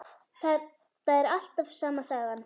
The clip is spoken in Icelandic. Þetta er alltaf sama sagan.